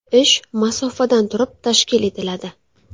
Ish masofadan turib tashkil etiladi .